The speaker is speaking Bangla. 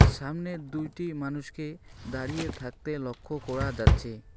সামনে দুইটি মানুষকে দাঁড়িয়ে থাকতে লক্ষ্য করা যাচ্ছে।